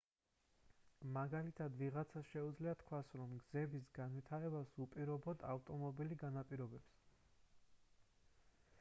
მაგალითად ვიღაცას შეუძლია თქვას რომ გზების განვითარებას უპირობოდ ავტომობილი განაპირობებს